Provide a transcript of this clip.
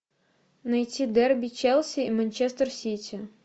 найти дерби челси и манчестер сити